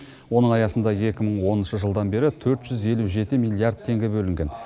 оның аясында екі мың оныншы жылдан бері төрт жүз елу жеті миллиард теңге бөлінген